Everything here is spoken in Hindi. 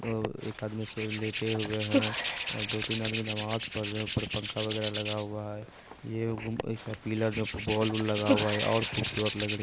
और एक आदमी स लेटे हुए हैं और दो तीन आदमी नमाज़ पढ़ रहें हैं ऊपर पंखा वगैरा लगा हुआ है ये एक गुम एक है पिलर में बॉल उल लगा हुआ है और खूबसूरत लग रही --